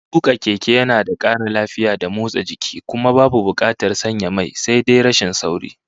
Tuka keke yana da kara lafiya da motsa jiki, kuma babu bukatar sanya mai. Sai dai rashin sauri